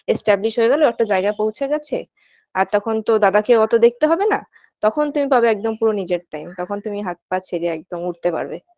Establish হয়ে গেল একটা জায়গায় পৌছে গেছে আর তখন তো দাদাকেও অত দেখতে হবে না তখন তুমি পাবে একদম পুরো নিজের time এখন তুমি হাত পা ছেড়ে একদম উড়তে পারবে